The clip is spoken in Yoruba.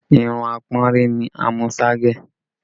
Irun apọ́nrí ni Amusa gẹ̀